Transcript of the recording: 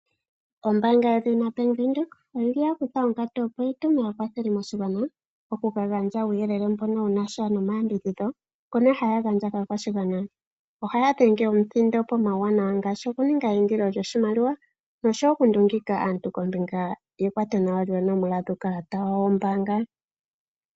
Ombanga yedhina bank windhoek oyili yakutha onkatu opo yi tume aakwatheli moshigwana okuka gandja uuyelele mbono wunasha nomayambidhidho ngono haya gandja kakwashigwana. Ohaya dhenge omuthindo pomauwanawa ngaashi okuninga eyindilo lyoshimaliwa nokundungika aantu kombinga yekwato nawa lyuunomola wuukala wawo wombanga.